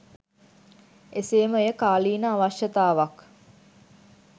එසේම එය කාලීන අවශ්‍යතාවක්